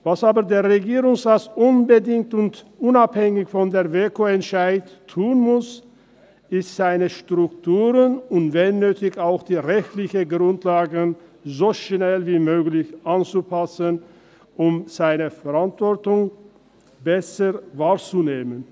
Was aber der Regierungsrat unbedingt und unabhängig vom WEKO-Entscheid tun muss, ist, seine Strukturen und wenn nötig auch die rechtlichen Grundlagen, so schnell wie möglich anzupassen und seine Verantwortung besser wahrzunehmen.